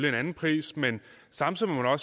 en anden pris men samtidig må man